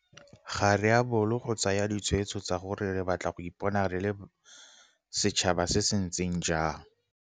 Ga re a bolo go tsaya ditshwetso tsa gore re batla go ipona re le setšhaba se se ntseng jang.